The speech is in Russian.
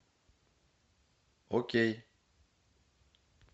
окей